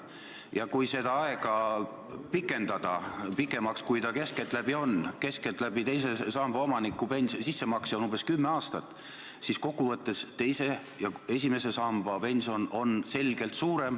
Ja kui seda aega pikendada pikemaks, kui see keskeltläbi on – keskeltläbi on teise samba sissemakse aeg umbes kümme aastat –, siis kokkuvõttes on teise ja esimese samba pension selgelt suurem.